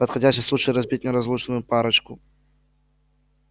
подходящий случай разбить неразлучную парочку